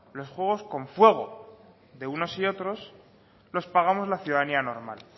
los juegos con fuego de unos y otros los pagamos la ciudadanía normal